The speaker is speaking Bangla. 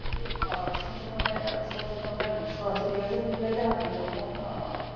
আহ সচেতন আহ সচেতনতার বিষয় আছে ঠিক আছে কিন্তু যখন,